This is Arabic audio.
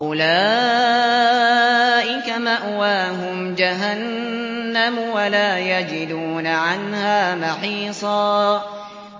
أُولَٰئِكَ مَأْوَاهُمْ جَهَنَّمُ وَلَا يَجِدُونَ عَنْهَا مَحِيصًا